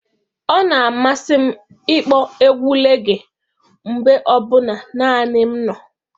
Ọ na-amasị m ịkpọ egwu rege mgbe ọ bụla naanị m nọ.